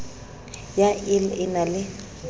ya ill e na le